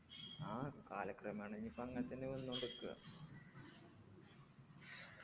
ആ കാലക്രമേണെ ഞ്ഞിപ്പോ അങ്ങതന്നെ വന്നൊണ്ട്ക്കാ